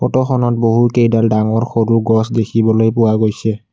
ফটোখনত বহু কেইডাল ডাঙৰ সৰু গছ দেখিবলৈ পোৱা গৈছে।